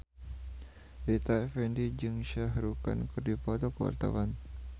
Rita Effendy jeung Shah Rukh Khan keur dipoto ku wartawan